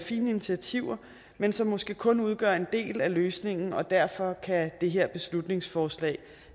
fine initiativer men som måske kun udgør en del af løsningen og derfor kan det her beslutningsforslag